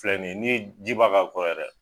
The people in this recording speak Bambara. Filɛ n'i ye ni ye ji ba ka kɔ yɛrɛ.